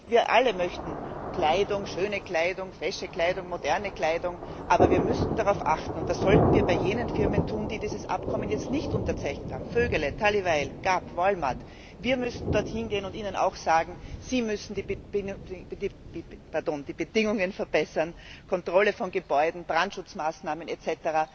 Wir alle möchten Kleidung schöne Kleidung, fesche Kleidung, moderne Kleidung aber wir müssen darauf achten, und das sollten wir bei jenen Firmen tun, die dieses Abkommen jetzt nicht unterzeichnet haben Vögele, Tally Weijl, Gap, Walmart. Wir müssen dort hingehen und ihnen auch sagen, sie müssen die Bedingungen Kontrolle von Gebäuden, Brandschutzmaßnahmen etc.